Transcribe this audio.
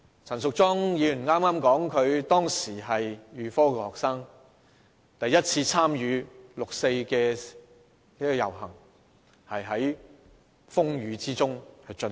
陳淑莊議員剛才發言時說她當時是預科學生，第一次參與的六四遊行是在風雨之中進行。